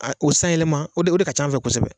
O sanyɛlɛma o de o de ka ca an fɛ kosɛbɛ.